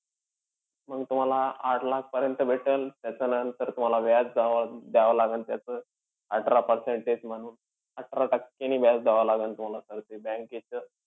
मंग तुम्हाला आठ लाखपर्यंत भेटेल. त्याच्यानंतर तुम्हाला व्याज द्या द्याव लागेल त्याचं, अठरा percentage म्हणून. अठरा टक्केनी व्याज द्याव लागेल तुम्हाला sir ते bank चं.